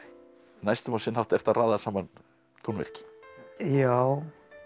næstum á sinn hátt ertu að raða saman tónverki já